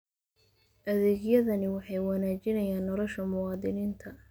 Adeegyadani waxay wanaajiyaan nolosha muwaadiniinta.